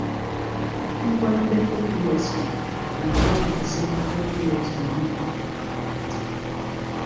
Ngwa ndekọ USB na-agwa gị gbasara ọrụ USB niile na kọmputa gị.